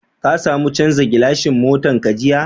Ka samu chanzan gilashin motan ka jiya?